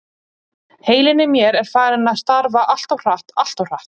Heilinn í mér er farinn að starfa alltof hratt, alltof hratt.